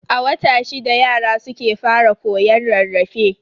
A wata shida yara suke fara koyon rarrafe.